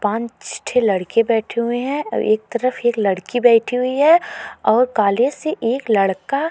पांच ठे लड़के बैठे हुए हैं और एक तरफ एक लड़की बैठी हुई है और कॉलेज से एक लड़का --